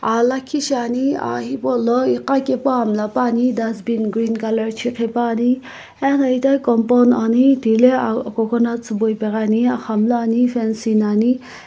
ah lakhishiane ah hipou lo igha kae pu ah miila pane dustbin green colour ano ithaghi compound ane thilae coconut siibo ipaghiane aghamlu ane fencing ane.